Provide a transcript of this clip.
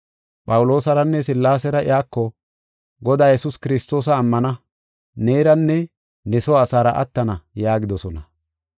Phawuloosaranne Sillaasera iyako, “Godaa Yesuus Kiristoosa ammana; neeranne ne soo asaara attana” yaagidosona.